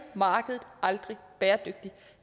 markedet aldrig bæredygtigt